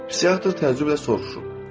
Psixiatr təəccüblə soruşub.